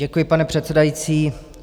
Děkuji, pane předsedající.